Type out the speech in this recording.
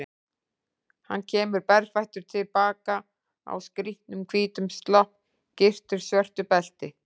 Hann kemur berfættur til baka, á skrýtnum hvítum slopp, gyrtur svörtu belti.